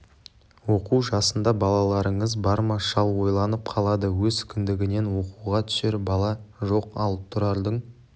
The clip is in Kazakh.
оқу жасында балаларыңыз бар ма шал ойланып қалады өз кіндігінен оқуға түсер бала жоқ ал тұрардың